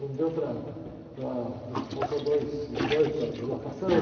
Não deu para, para... Faltou dois, os dois para a dilatação.